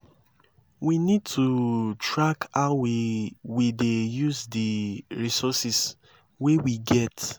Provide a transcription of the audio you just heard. we need to track how we we dey use di resources wey we get